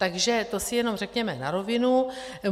Takže to si jenom řekněme na rovinu.